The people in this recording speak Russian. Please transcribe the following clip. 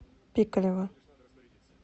пикалево